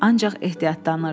Ancaq ehtiyatlanırdı.